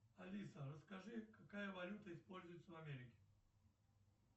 алиса расскажи какая валюта используется в америке